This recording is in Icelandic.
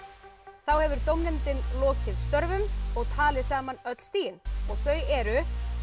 þá hefur dómnefndin lokið störfum og talið saman öll stigin og þau eru